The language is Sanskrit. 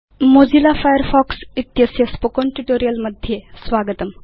मोजिल्ला फायरफॉक्स इत्यस्य स्पोकेन ट्यूटोरियल् मध्ये स्वागतम्